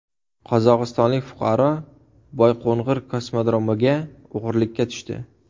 Qozog‘istonlik fuqaro Boyqo‘ng‘ir kosmodromiga o‘g‘irlikka tushdi.